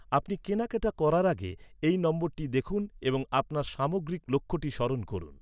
আপনি কেনাকাটা করার আগে, এই নম্বরটি দেখুন এবং আপনার সামগ্রিক লক্ষ্যটি স্মরণ করুন।